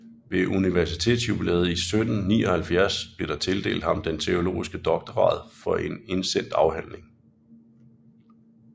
Ved universitetsjubilæet 1779 blev der tildelt ham den teologiske doktorgrad for en indsendt afhandling